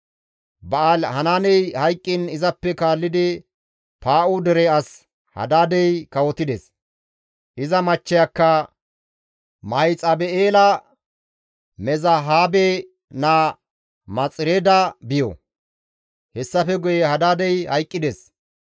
Ba7aali-Hanaaney hayqqiin izappe kaallidi Paa7u dere as Hadaadey kawotides; iza machcheyakka Mahexabi7eela Mezahaabe naa Maxireeda biyo; hessafe guye Hadaadey hayqqides.